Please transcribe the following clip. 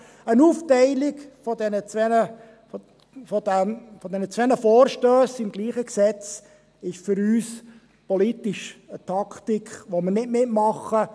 Eine Aufteilung dieser zwei Vorstösse zum selben Gesetz ist für uns eine politische Taktik, bei der wir nicht mitmachen;